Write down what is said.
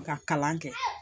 Ka kalan kɛ